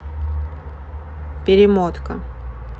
перемотка